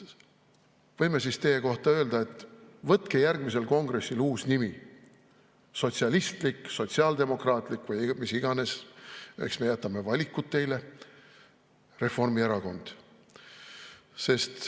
Võime siis teie kohta öelda, et võtke järgmisel kongressil uus nimi: Sotsialistlik, Sotsiaaldemokraatlik või mis iganes – eks me jätame valikud teile – Reformierakond.